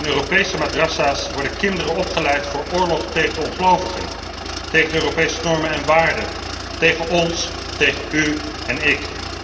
In Europese madrassa's worden kinderen opgeleid voor oorlog tegen de ongelovigen, tegen de Europese normen en waarden, tegen ons, tegen u en ik.